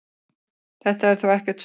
Þetta sé þó ekkert stórmál.